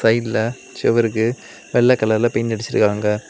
சைட்ல செவிருக்கு வெள்ளை கலர்ல பெயிண்ட் அடிச்சிருக்கான்க.